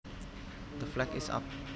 The flag is up